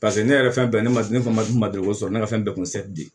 Paseke ne yɛrɛ ye fɛn bɛɛ ye ne ma ne fa ma du ma deli ko sɔrɔ ne ka fɛn bɛɛ kun